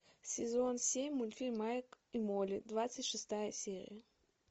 сезон семь мультфильм майк и молли двадцать шестая серия